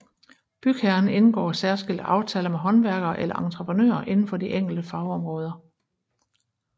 Bygherren indgår særskilte aftaler med håndværkere eller entreprenører inden for de enkelte fagområder